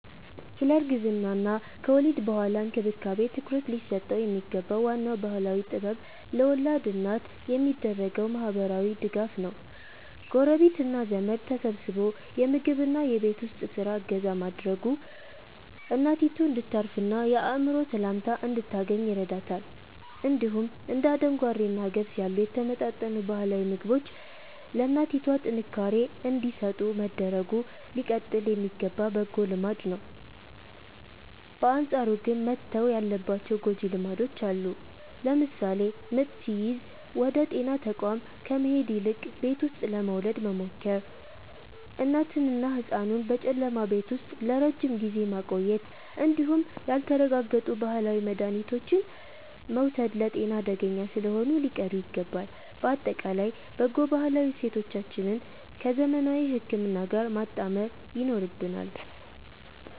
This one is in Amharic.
ስለ እርግዝናና ከወሊድ በኋላ እንክብካቤ ትኩረት ሊሰጠው የሚገባው ዋናው ባህላዊ ጥበብ ለወላድ እናት የሚደረገው ማህበራዊ ድጋፍ ነው። ጎረቤትና ዘመድ ተሰባስቦ የምግብና የቤት ውስጥ ስራ እገዛ ማድረጉ እናቷ እንድታርፍና የአእምሮ ሰላም እንድታገኝ ይረዳታል። እንዲሁም እንደ አደንጓሬና ገብስ ያሉ የተመጣጠኑ ባህላዊ ምግቦች ለእናቷ ጥንካሬ እንዲሰጡ መደረጉ ሊቀጥል የሚገባ በጎ ልማድ ነው። በአንጻሩ ግን መተው ያለባቸው ጎጂ ልማዶች አሉ። ለምሳሌ ምጥ ሲይዝ ወደ ጤና ተቋም ከመሄድ ይልቅ ቤት ውስጥ ለመውለድ መሞከር፣ እናትንና ህጻኑን በጨለማ ቤት ውስጥ ለረጅም ጊዜ ማቆየት እንዲሁም ያልተረጋገጡ ባህላዊ መድሃኒቶችን መውሰድ ለጤና አደገኛ ስለሆኑ ሊቀሩ ይገባል። ባጠቃላይ በጎ ባህላዊ እሴቶቻችንን ከዘመናዊ ህክምና ጋር ማጣመር ይኖርብናል።